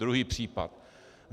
Druhý případ.